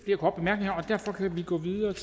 jeg for